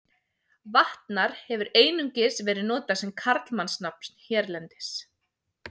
Vatnar hefur einungis verið notað sem karlmannsnafn hérlendis.